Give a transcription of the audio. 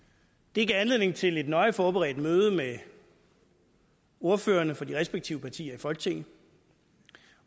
det gav anledning til et nøje forberedt møde med ordførerne for de respektive partier i folketinget